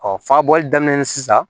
Ɔ fa bɔli daminɛ sisan